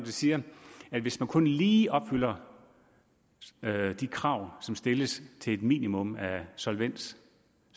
siger at hvis man kun lige opfylder de krav stilles til et minimum af solvens